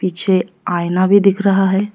पीछे आईना भी दिख रहा है।